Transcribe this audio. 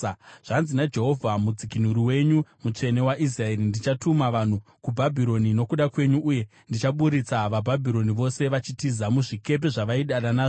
Zvanzi naJehovha, Mudzikunuri wenyu, Mutsvene waIsraeri: “Ndichatuma vanhu kuBhabhironi nokuda kwenyu, uye ndichaburitsa vaBhabhironi vose vachitiza, muzvikepe zvavaidada nazvo.